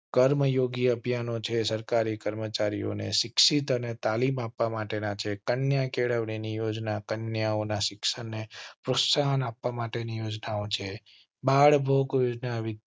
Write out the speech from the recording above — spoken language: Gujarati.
કર્મયોગી અભિયાન છે. સરકારી કર્મચારીઓ ને શિક્ષિત અને તાલીમ આપવા માટે ના છે. કન્યા કેળવણી યોજના કન્યાઓ ના શિક્ષણ ને પ્રોત્સાહન આપવા માટે ની યોજનાઓ છે.